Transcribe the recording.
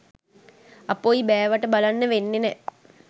අපොයි බෑවට බලන්න වෙන්නේ නෑ